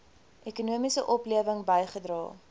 ekonomiese oplewing bygedra